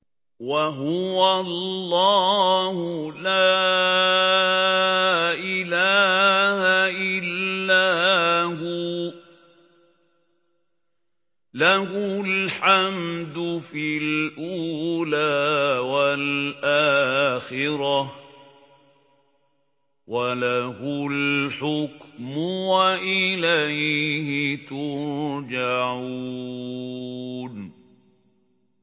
وَهُوَ اللَّهُ لَا إِلَٰهَ إِلَّا هُوَ ۖ لَهُ الْحَمْدُ فِي الْأُولَىٰ وَالْآخِرَةِ ۖ وَلَهُ الْحُكْمُ وَإِلَيْهِ تُرْجَعُونَ